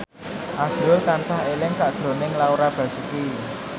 azrul tansah eling sakjroning Laura Basuki